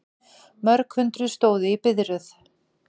Mörg hundruð stóðu í biðröð